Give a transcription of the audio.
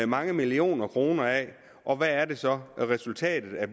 mange millioner kroner af og hvad er det så resultatet af